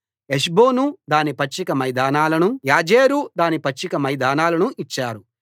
హెష్బోను దాని పచ్చిక మైదానాలనూ యాజెరు దాని పచ్చిక మైదానాలనూ ఇచ్చారు